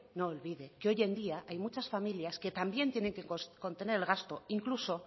no olvide que hoy en día hay muchas familias que también tienen que contener el gasto incluso